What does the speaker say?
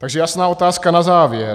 Takže jasná otázka na závěr.